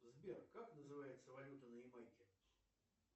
сбер как называется валюта на ямайке